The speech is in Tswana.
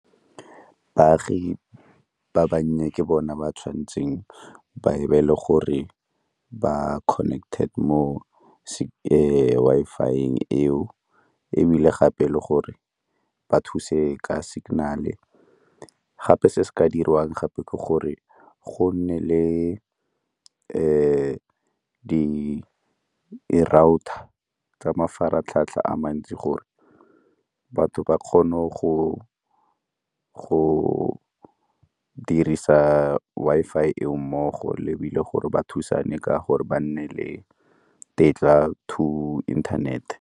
Baagi ba bannye ke bona ba tshwanetseng ba e be le gore ba connected mo Wi-Fi-eng eo ebile gape le gore ba thuse ka signal-e. Gape se se ka diriwang gape ke gore go nne le tsa mafaratlhatlha a mantsi gore batho ba kgone go dirisa Wi-Fi eo mmogo lebile gore ba thusane ka gore ba nne le tetla to internet-e.